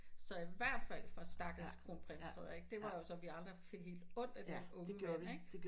Så i hvert fald for stakkels kronprins Frederik det var jo sådan vi andre fik helt ondt af den unge mand ikke